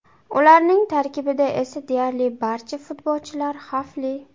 Ularning tarkibida esa deyarli barcha futbolchilar xavfli.